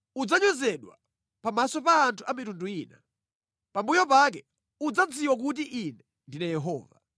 Udzanyozedwa pamaso pa anthu a mitundu ina. Pambuyo pake udzadziwa kuti Ine ndine Yehova.’ ”